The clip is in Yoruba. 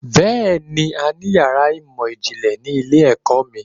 Bẹ́ẹ̀ni, a ní yàrá ìmọ̀ ìjìnlẹ̀ ni ilé-ẹ̀kọ́ mi